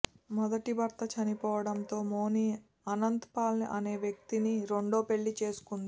మొదటి భర్త చనిపోవడంతో మోని అనంత్ పాల్ అనే వ్యక్తిని రెండో పెళ్లి చేసుకుంది